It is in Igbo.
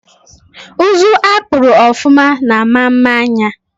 Uzu akpuru ofụma na ama mma anya